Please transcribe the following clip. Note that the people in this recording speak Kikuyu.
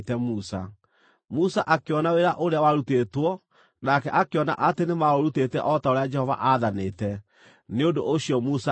Musa akĩona wĩra ũrĩa warutĩtwo nake akĩona atĩ nĩmaũrutĩte o ta ũrĩa Jehova aathanĩte. Nĩ ũndũ ũcio Musa akĩmarathima.